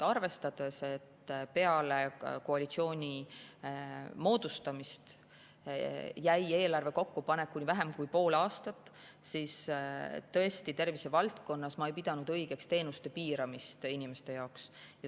Arvestades, et peale koalitsiooni moodustamist jäi eelarve kokkupanekuni vähem kui pool aastat, ma tervisevaldkonnas ei pidanud õigeks teenuste piiramist inimeste jaoks.